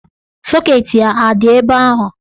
Sọket ya a dị ebe ahụ?